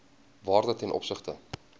waarde ten opsigte